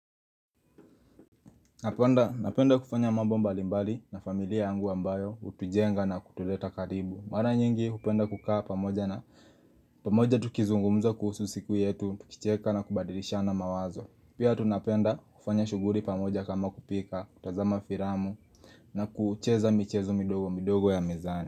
Napenda napenda kufanya mambo mbali mbali na familia yangu ambayo hutujenga na kutuleta karibu Mara nyingi hupenda kukaa pamoja na pamoja tukizungumza kuhusu siku yetu, tukicheka na kubadilishana mawazo Pia tunapenda kufanya shughuli pamoja kama kupika, kutazama filamu na kucheza michezo midogo midogo ya mizane.